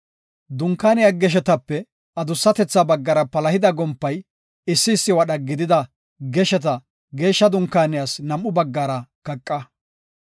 Dunkaaniya geshetape adusatetha baggara palahida gompay issi issi wadha gidida gesheta Geeshsha Dunkaaniyas nam7u baggara kaqa.